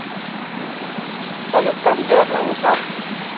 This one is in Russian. салют как сделать новую карту